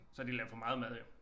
Så har de lavet for meget mad jo